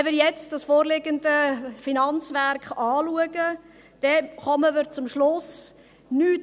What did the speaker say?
Wenn wir jetzt das vorliegende Finanzwerk anschauen, kommen wir zum Schluss, dass sich nichts geändert hat.